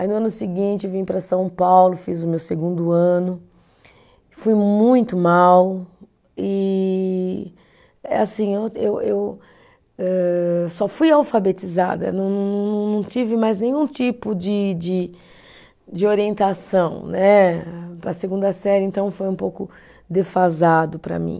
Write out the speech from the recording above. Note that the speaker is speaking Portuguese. Aí, no ano seguinte, vim para São Paulo, fiz o meu segundo ano, fui muito mal e, eh assim, eu eu âh, só fui alfabetizada, não não não, não tive mais nenhum tipo de de, de orientação né, para a segunda série, então foi um pouco defasado para mim.